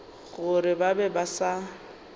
gore ba be ba sa